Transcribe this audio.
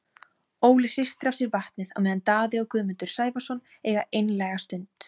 Óli hristir af sér vatnið á meðan Daði og Guðmundur Sævarsson eiga einlæga stund.